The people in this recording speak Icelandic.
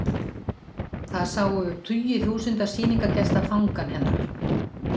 Þar sáu tugir þúsunda sýningargesta Fangann hennar.